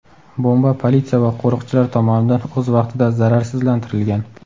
Bomba politsiya va qo‘riqchilar tomonidan o‘z vaqtida zararsizlantirilgan.